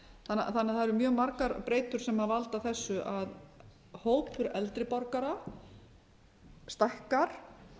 að það eru margar breytur sem halda þessu að hópur eldri borgara stækkar